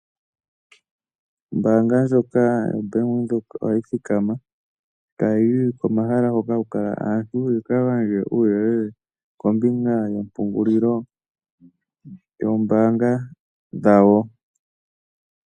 Ombanga ndjoka yaBank Windhoek ohayi thikama tayi yi komahala hoka kuna aantu . Yika gandje uuyelele kombinga yomapungulilo dhoombanga dhawo.